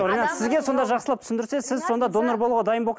ринат сізге сонда жақсылап түсіндірсе сіз сонда донор болуға дайын